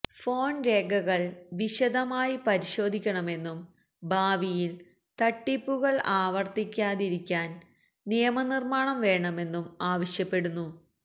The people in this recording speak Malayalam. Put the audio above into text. ഫോണ് രേഖകള് വിശദമായി പരിശോധിക്കണമെന്നും ഭാവിയില് തട്ടിപ്പുകള് ആവര്ത്തിക്കാതിരിക്കാന് നിയമ നിര്മാണം വേണമെന്നും ആവശ്യപ്പെടുന്നു